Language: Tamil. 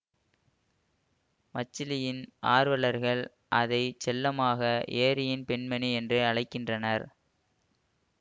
மச்சலியின் ஆர்வலர்கள் அதை செல்லமாக ஏரியின் பெண்மணி என்று அழைக்கின்றனர்